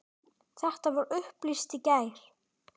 Þetta var upplýst í gær.